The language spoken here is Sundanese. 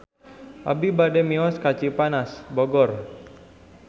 Abi bade mios ka Cipanas Bogor